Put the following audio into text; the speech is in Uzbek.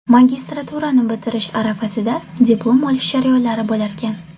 Magistraturani bitirish arafasida diplom olish jarayonlari bo‘larkan.